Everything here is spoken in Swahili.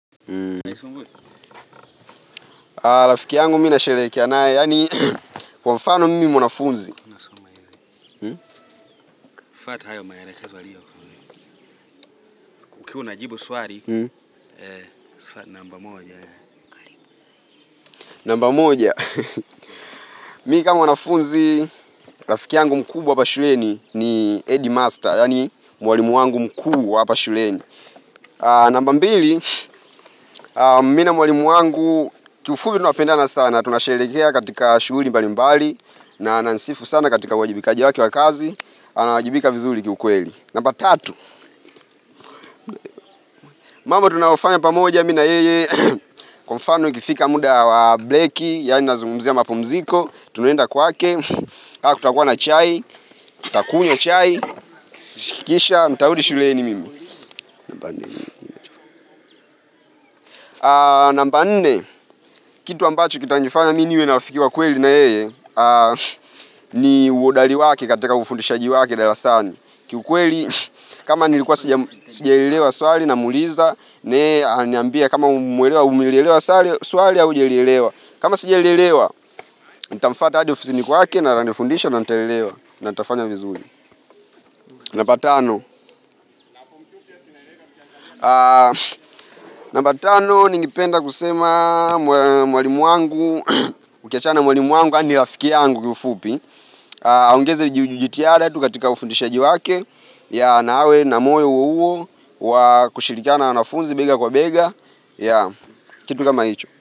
Rafiki yangu mimi ninasherehekea nae kwa mfano mimi mwanafunzi Ukiwa unajibu swari Namba moja Namba moja Mi kaa mwanafunzi rafiki yangu mkubwa hapa shuleni ni head Master yaani Mwalimu wangu mkuu wa hapa shuleni Namba mbili Mi na mwalimu wangu Kiufubi tunapendana sana Tunasherehekea katika shughuli mbalimbali na ananisifu sana katika uwajibikaji wake wa kazi Anawajibika vizuli ki ukweli Namba tatu mambo tunayofanya pamoja mi na yeye Kwa mfano ikifika mda wa bleki Yani nazungumzia mapumziko Tunaenda kwake kaa kutakuwa na chai Takunywa chai Kisha ntarudi shuleni mimi Namba nne kitu ambacho kitanifanya mi niwe na rafiki wa kweli na yeye ni uhodali wake katika ufundishaji wake Dalasani ki ukweli kama nilikuwa sija sijaelewa swali namuuliza na yeye ananiambia kama umeelewa umilelewa salu swali au hujalielewa kama sijalielewa, nitamfwata hadi ofisini kwake na atanifundisha na nitaelewa na nitafanya vizuri Namba tano Namba tano, ningependa kusema mwalimu wangu Ukiachana na mwalimu wangu yaani rafikia yangu kiufupi aongeze jitiada tu katika ufundishaji wake Yeah na awe na moyo huo wa kushilikiana na wanafunzi bega kwa bega Yeah, kitu kama hicho.